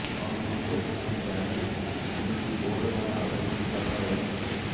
କଣ ଖାଲି ପଇସା ପାଇଁ ରାନୀ ଏମିତି ବୋଲ୍ଡ ନା ଆଉ କିଛି କାରଣ ରହିଛି